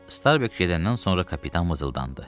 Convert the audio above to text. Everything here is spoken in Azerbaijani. Starbek gedəndən sonra kapitan vızıldandı.